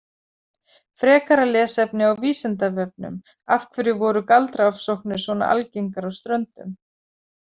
Frekara lesefni á Vísindavefnum Af hverju voru galdraofsóknir svona algengar á Ströndum?